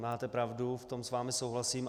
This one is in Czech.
Máte pravdu, v tom s vámi souhlasím.